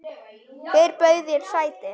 Hver bauð þér sæti?